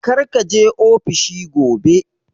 Kar ka je ofishi gobe!